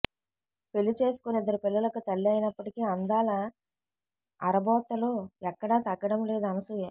పెళ్లి చేసుకొని ఇద్దరు పిల్లలకు తల్లి అయినప్పటికీ అందాల ఆరబోతలో ఎక్కడా తగ్గడం లేదు అనసూయ